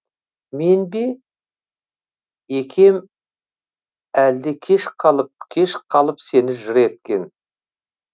мен бе екем әлде кеш қалып кеш қалып сені жыр еткен